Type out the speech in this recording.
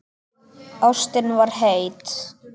Ástin var heit.